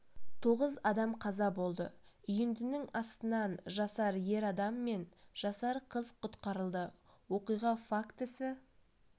тоғыз адам қаза болды үйіндінің астынан жасар ер адам мен жасар қыз құтқарылды оқиға фактісі